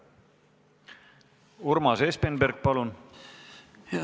Urmas Espenberg, palun!